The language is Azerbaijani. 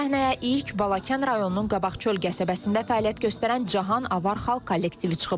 Səhnəyə ilk Balakən rayonunun Qabaqçöl qəsəbəsində fəaliyyət göstərən Cahan Avar xalq kollektivi çıxıb.